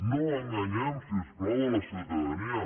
no enganyem si us plau la ciutadania